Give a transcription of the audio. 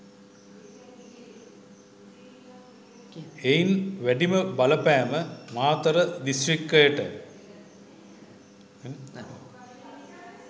එයින් වැඩිම බලපෑම මාතර දිස්ත්‍රික්කයට